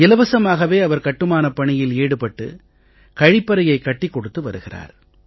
இலவசமாகவே அவர் கட்டுமானப் பணியில் ஈடுபட்டு கழிப்பறையைக் கட்டிக் கொடுத்து வருகிறார்